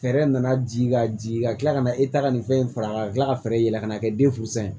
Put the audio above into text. Fɛɛrɛ nana ji ka jigin ka kila ka na e ta ka nin fɛn in faga ka kila ka fɛɛrɛ yɛlɛ ka na kɛ den fu san ye